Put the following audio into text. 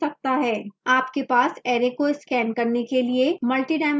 आपके पास array को scan करने के लिए multidimensional तरीके हो सकते हैं